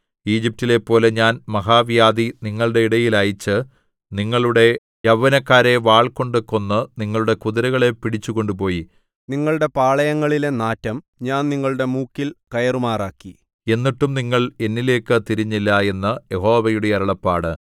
ഈജിപ്റ്റിലെപ്പോലെ ഞാൻ മഹാവ്യാധി നിങ്ങളടെ ഇടയിൽ അയച്ച് നിങ്ങളുടെ യൗവനക്കാരെ വാൾകൊണ്ട് കൊന്ന് നിങ്ങളുടെ കുതിരകളെ പിടിച്ചു കൊണ്ടുപോയി നിങ്ങളുടെ പാളയങ്ങളിലെ നാറ്റം ഞാൻ നിങ്ങളുടെ മൂക്കിൽ കയറുമാറാക്കി എന്നിട്ടും നിങ്ങൾ എന്നിലേയ്ക്കു തിരിഞ്ഞില്ല എന്ന് യഹോവയുടെ അരുളപ്പാട്